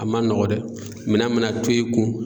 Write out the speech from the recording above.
A man nɔgɔn dɛ minɛn mana to i kun